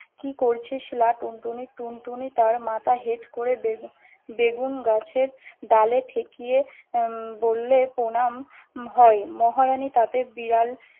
কি করছিস লা টুনটুনি? টুনটুনি তার মাথা হেট করে বেগু~ বেগুন গাছের ডালে ঠেকিয়ে, উম বললে প্রনাম হয়। মহারাণী তাদের বিড়াল